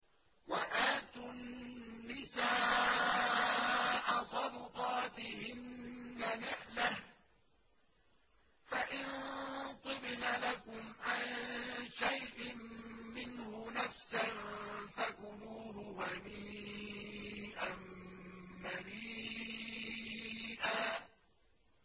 وَآتُوا النِّسَاءَ صَدُقَاتِهِنَّ نِحْلَةً ۚ فَإِن طِبْنَ لَكُمْ عَن شَيْءٍ مِّنْهُ نَفْسًا فَكُلُوهُ هَنِيئًا مَّرِيئًا